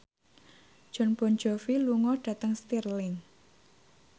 Jon Bon Jovi lunga dhateng Stirling